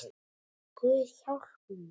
Guð hjálpi mér.